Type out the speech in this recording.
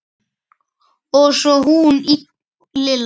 Og svo hún Lilla.